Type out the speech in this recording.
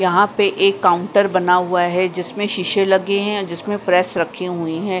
यहां पे एक काउंटर बना हुआ है जिसमें शीशे लगे हैं जिसमें प्रेस रखे हुए है।